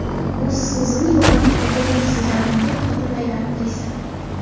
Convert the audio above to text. Busiz o‘zimni yo‘qotib qo‘ygandek sezardim”, deb xotirlaydi aktrisa.